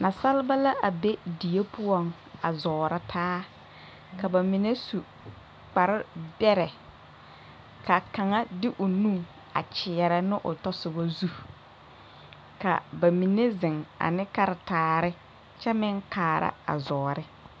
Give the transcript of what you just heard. Nasalba la be die poɔŋ a zɔɔrɔ taa ka bamine su kpare bɛrɛ kaa kaŋa de o nu a kyeɛrɛ ne o tasɔbɔ zu ka bamine ziŋ ane karitaare kyɛ meŋ kaara a zɔɔre.